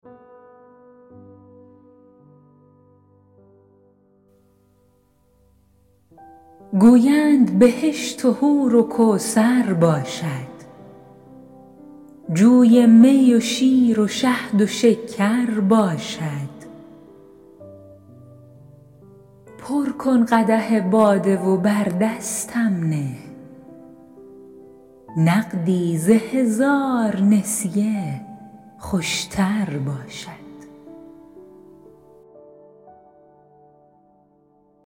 گویند بهشت و حور و کوثر باشد جوی می و شیر و شهد و شکر باشد پر کن قدح باده و بر دستم نه نقدی ز هزار نسیه خوش تر باشد